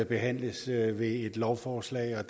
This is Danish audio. behandles i et lovforslag og